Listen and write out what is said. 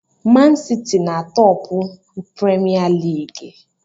Mansiti na-atọpụ premia lịịgị